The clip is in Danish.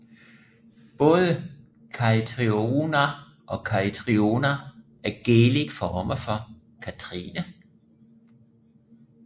Både Caitriona og Caitriona er Gaelic former for Kathrine